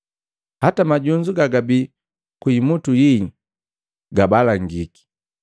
Hata majunzu gagabii ku imutu yii gabalangiki.